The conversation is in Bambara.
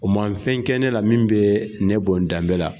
O ma nfɛn kɛ ne la min bɛ ne bɔn n danbe la.